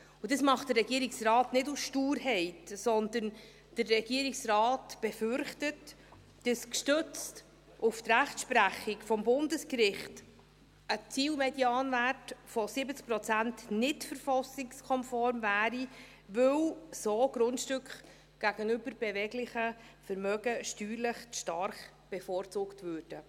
Dies macht der Regierungsrat nicht aus Sturheit, sondern der Regierungsrat befürchtet, dass gestützt auf die Rechtsprechung des Bundesgerichts ein Zielmedianwert von 70 Prozent nicht verfassungskonform wäre, weil so Grundstücke gegenüber beweglichen Vermögen steuerlich zu stark bevorzugt würden.